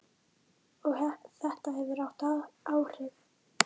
Og þetta hefur haft áhrif.